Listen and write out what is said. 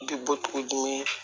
Bi butigi di